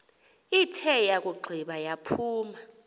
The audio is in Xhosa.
ithe yakugqiba yaphuma